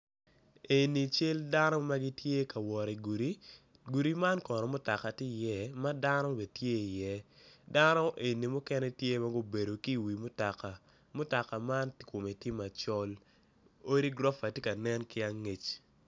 Eni cal dano magitye ka wot i gudi, gido man kono mutaka tye i iye ma dano bene tye i iye dano eni mukene tye ma gubedo ki wi mutoka. mutoka man kome tye macol. odi gurofa tye ka nen ki angec.